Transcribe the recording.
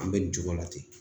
An bɛ nin cogo la ten